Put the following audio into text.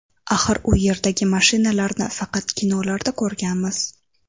Axir u yerdagi mashinalarni faqat kinolarda ko‘rganmiz.